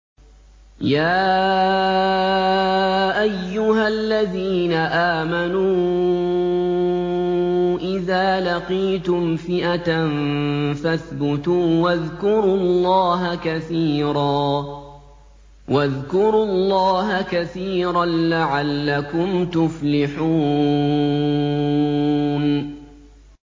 يَا أَيُّهَا الَّذِينَ آمَنُوا إِذَا لَقِيتُمْ فِئَةً فَاثْبُتُوا وَاذْكُرُوا اللَّهَ كَثِيرًا لَّعَلَّكُمْ تُفْلِحُونَ